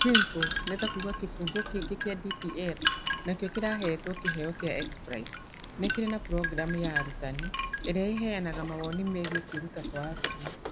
Chimple (kĩbungo kĩngĩ kĩa DPL na kĩo kĩrahetwo kĩheo kĩa X-Prize), nĩ kĩrĩ na programu ya arutani ĩrĩa ĩheanaga mawoni megiĩ kwĩruta kwa arutwo.